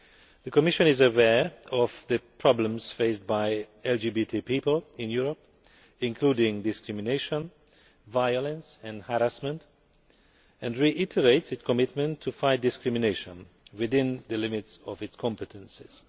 The Commission is aware of the problems faced by LGBT people in Europe, including discrimination, violence and harassment, and reiterates its commitment to fight discrimination within the limits of its competencies.